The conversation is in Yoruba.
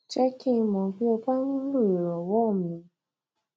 jẹ́ kí n mọ̀ bí o bá nílò ìranwọ mi